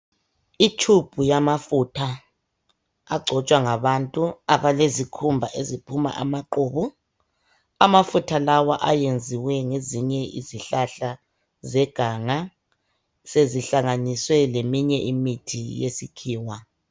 Itshubhu yamafutha angcotsha ngabathu abelezikhumba eziphuma amaqubu. Amafutha lawa ayenziwe ngezinye izihlahla zeganga zezihlanganiswe leminye imithi yesikhiwa.